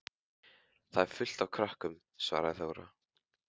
Þar er fullt af krökkum, svaraði Þóra.